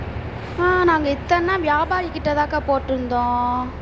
அஹ் நாங்க இத்தனை நாள் வியாபாரிகிட்டதான்க்கா போட்டிருந்தோம்